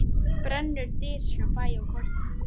Brennur dys hjá bæ og koti.